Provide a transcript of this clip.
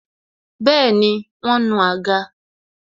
Bẹẹni, wọn nu àga